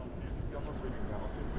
Yaxşı, yaxşı, yaxşıdır.